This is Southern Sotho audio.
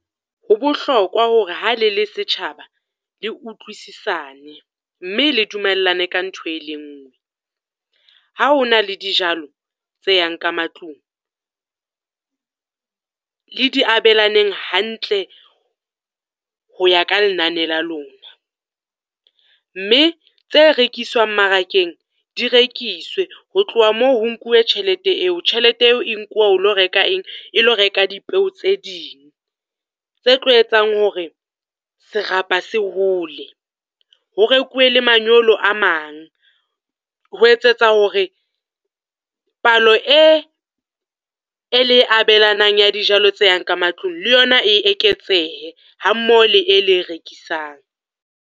Ho bohlokwa hore ha le le setjhaba le utlwisisane, mme le dumellane ka ntho e le nngwe. Ha ho na le dijalo tse yang ka matlung, le di abelaneng hantle ho ya ka lenane la lona. Mme tse rekiswang mmarakeng, di rekiswe ho tloha moo, ho nkuwe tjhelete eo. Tjhelete eo e nkuwa ho lo reka eng, e lo reka dipeo tse ding. Tse tlo etsang hore serapa se hole, ho rekuwe le manyolo a mang, ho etsetsa hore palo e e le e abelanang ya dijalo tse yang ka matlung le yona e eketsehe ha mmoho le e le e rekisang.